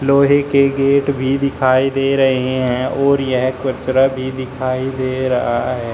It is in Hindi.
लोहे के गेट भी दिखाई दे रहे हैं और यह कचरा भी दिखाई दे रहा है।